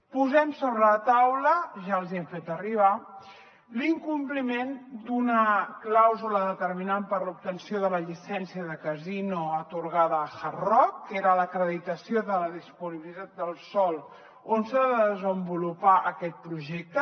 posem sobre la taula ja els hi hem fet arribar l’incompliment d’una clàusula determinant per a l’obtenció de la llicència de casino atorgada al hard rock que era l’acreditació de la disponibilitat del sòl on s’ha de desenvolupar aquest projecte